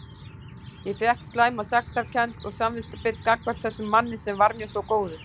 Ég fékk slæma sektarkennd og samviskubit gagnvart þessum manni sem var mér svo góður.